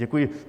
Děkuji.